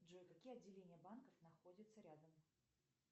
джой какие отделения банков находятся рядом